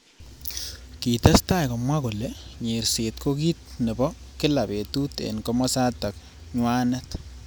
Kitestai komwa kole nyerset ko ki nebo kila betut eng kimosatak nywanet.